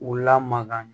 U lamakan